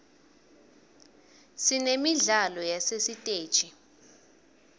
sinemidlalo yasesiteji